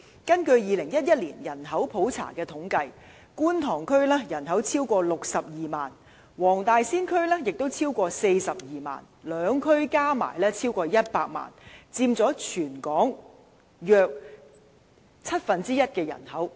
根據2011年的人口普查，觀塘區的人口超過62萬，黃大仙區也超過42萬，兩區加起來超過100萬，佔全港人口約七分之一。